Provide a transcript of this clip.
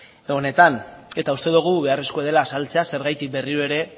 honetan eta uste dugu beharrezkoa dela azaltzea zergatik berriro ere